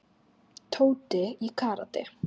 Tóti í karate.